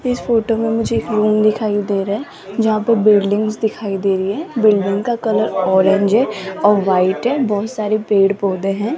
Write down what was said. इस फोटो में मुझे एक महल दिखाई दे रहा है जहां पर बिल्डिंग्स दिखाई दे रही हैं बिल्डिंग का कलर ऑरेंज है और व्हाइट है बहुत सारे पेड़-पौधे हैं।